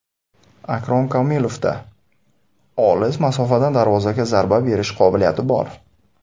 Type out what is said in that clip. Akrom Komilovda olis masofadan darvozaga zarba berish qobiliyati bor.